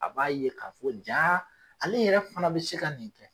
A b'a ye ka fɔ ja ale yɛrɛ fana be se ka nin kɛ.